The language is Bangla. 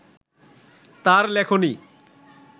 তার লেখনী